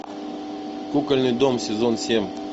кукольный дом сезон семь